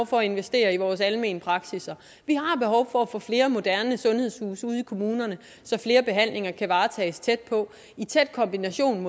for at investere i vores almene praksisser vi har behov for at få flere moderne sundhedshuse ude i kommunerne så flere behandlinger kan varetages tæt på i tæt kombination